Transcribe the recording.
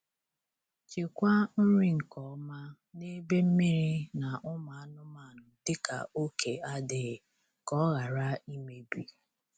Chekwaa nri nke ọma n'ebe mmiri na ụmụ anụmanụ dịka oke adịghị, ka ọ ghara imebi.